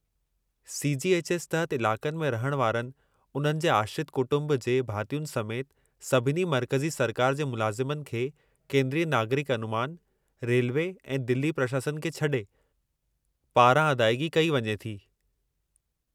C. G. H. S. तहत इलाक़नि में रहण वारनि उन्हनि जे आश्रित कुटुंब जे भातियुनि समेत सभिनी मर्कज़ी सरकार जे मुलाज़मनि खे केंद्रीय नागरिक अनुमान (रेलवे ऐं दिल्ली प्रशासन खे छडे॒) पारां अदाइगी कई वञे थी।